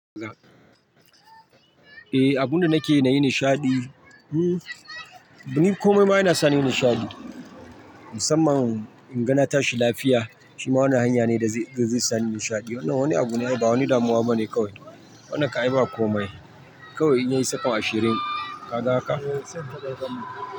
Eh, abunda nakeyi nayi nishaɗi, hmm, ni komai ma yana sani nishaɗi. Musamman in ga na tashi lafiya, shima wannan hanya ne da zai sani nishaɗi. Wannan wani abu ne, ba wani damuwa bane kawai. Wannan kam ai ba komai. Kawai in yayi sakon ashirin, ka ga haka?